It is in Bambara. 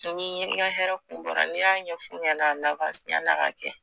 Sini i ka hɛrɛ kun bɔra n'i y'a ɲɛf'u ɲɛna yani a ka kɛ